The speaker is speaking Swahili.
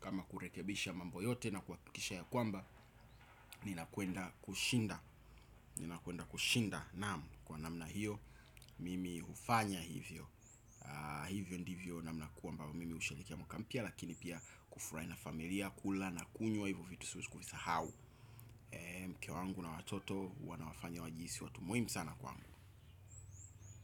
Kama kurekebisha mambo yote na kuakikisha ya kwamba nina kwenda kushinda naam kwa namna hiyo. Mimi ufanya hivyo. Hivyo ndivyo namna kwamba mimi usherekea mwaka mpya. Lakini pia kufurai na familia kula na kunywa hivo vitu siwesi kufisahau mke wangu na watoto huwa nawafanya wajiisi watu muhimu sana kwangu.